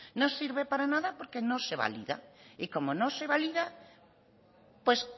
no sirve para nada porque se no se valida y como no se validad pues